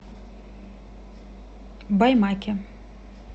баймаке